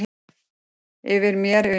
Yfir mér, yfir mér.